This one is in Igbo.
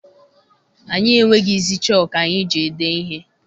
Anyị enweghịzi chọku anyị ji ede ihe.